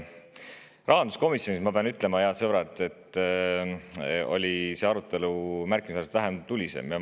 Rahanduskomisjonis, ma pean ütlema, head sõbrad, oli see arutelu märkimisväärselt vähem tuline.